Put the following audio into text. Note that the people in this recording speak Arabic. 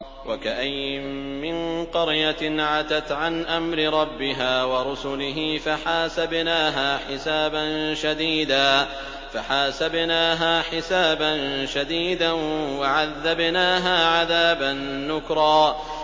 وَكَأَيِّن مِّن قَرْيَةٍ عَتَتْ عَنْ أَمْرِ رَبِّهَا وَرُسُلِهِ فَحَاسَبْنَاهَا حِسَابًا شَدِيدًا وَعَذَّبْنَاهَا عَذَابًا نُّكْرًا